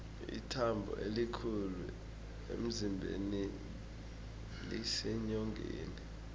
ithambo elikhulu emzimbeni liseenyongeni